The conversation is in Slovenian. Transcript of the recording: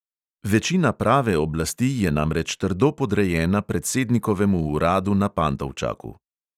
Večina prave oblasti je namreč trdo podrejena predsednikovemu uradu na pantovčaku.